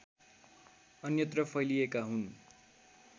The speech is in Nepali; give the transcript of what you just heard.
अन्यत्र फैलिएका हुन्